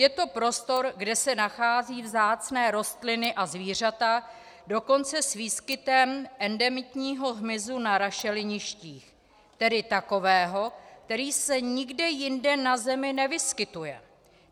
Je to prostor, kde se nacházejí vzácné rostliny a zvířata, dokonce s výskytem endemitního hmyzu na rašeliništích, tedy takového, který se nikde jinde na zemi nevyskytuje.